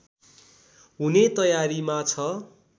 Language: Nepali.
हुने तयारीमा छ